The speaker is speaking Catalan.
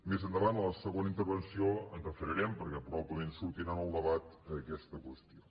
més endavant a la segona intervenció ens hi referirem perquè probablement sortirà en el debat aquesta qüestió